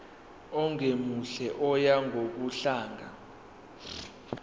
ongemuhle oya ngokudlanga